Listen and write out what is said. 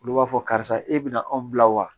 Olu b'a fɔ karisa e bɛna anw bila wa